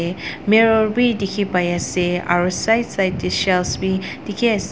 te mirror bi dikhipaiase aro side side tae shelf bi dikhiase--